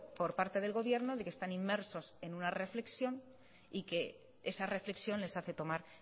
por parte del gobierno de que están inmersos en una reflexión y que esa reflexión les hace tomar